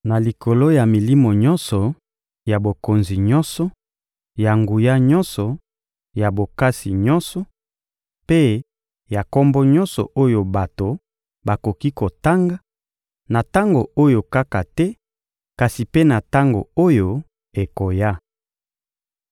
na likolo ya milimo nyonso, ya bokonzi nyonso, ya nguya nyonso, ya bokasi nyonso, mpe ya kombo nyonso oyo bato bakoki kotanga, na tango oyo kaka te kasi mpe na tango oyo ekoya.